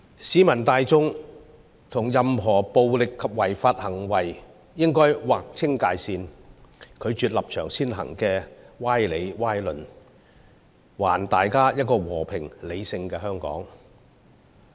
市民大眾應與任何暴力及違法行為劃清界線，拒絕立場先行的歪理和歪論，還大家一個和平理性的香港。